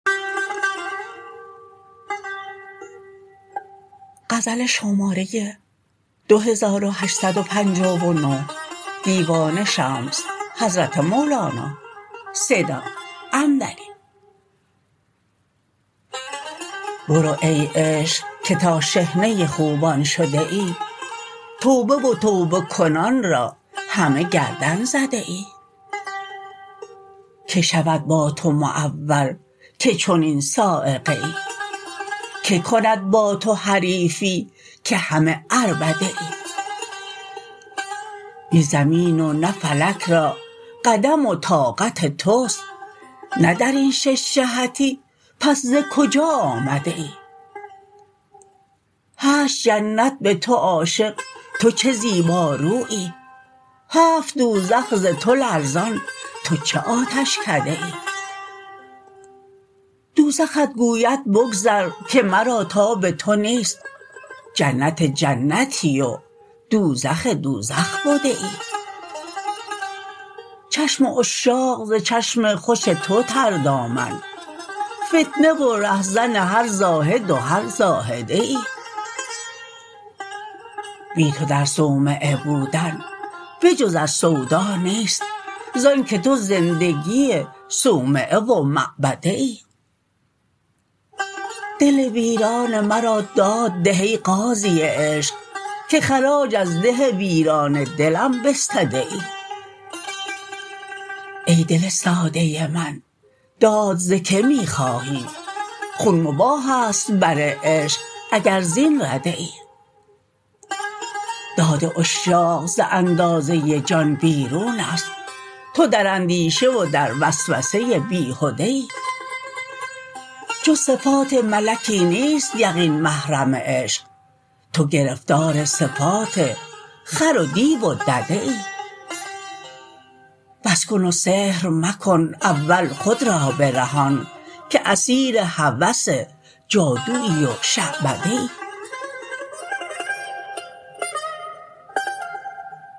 برو ای عشق که تا شحنه خوبان شده ای توبه و توبه کنان را همه گردن زده ای کی شود با تو معول که چنین صاعقه ای کی کند با تو حریفی که همه عربده ای نی زمین و نه فلک را قدم و طاقت توست نه در این شش جهتی پس ز کجا آمده ای هشت جنت به تو عاشق تو چه زیبا رویی هفت دوزخ ز تو لرزان تو چه آتشکده ای دوزخت گوید بگذر که مرا تاب تو نیست جنت جنتی و دوزخ دوزخ بده ای چشم عشاق ز چشم خوش تو تردامن فتنه و رهزن هر زاهد و هر زاهده ای بی تو در صومعه بودن به جز از سودا نیست ز آنک تو زندگی صومعه و معبده ای دل ویران مرا داد ده ای قاضی عشق که خراج از ده ویران دلم بستده ای ای دل ساده من داد ز کی می خواهی خون مباح است بر عشق اگر زین رده ای داد عشاق ز اندازه جان بیرون است تو در اندیشه و در وسوسه بیهده ای جز صفات ملکی نیست یقین محرم عشق تو گرفتار صفات خر و دیو و دده ای بس کن و سحر مکن اول خود را برهان که اسیر هوس جادویی و شعبده ای